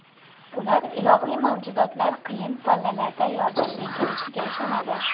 Ular ilohiy mavjudotlar qiyin pallalarda yordamga kelishiga ishonadi.